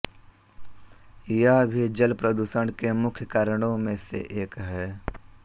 यह भी जल प्रदूषण के मुख्य कारणों में से एक है